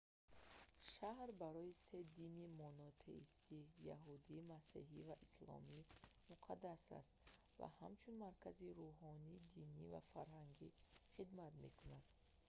шаҳр барои се дини монотеистӣ яҳудӣ масеҳӣ ва исломӣ муқаддас аст ва ҳамчун маркази рӯҳонӣ динӣ ва фарҳангӣ хидмат мекунад